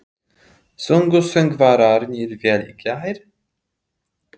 Sungu söngvararnir vel í gær?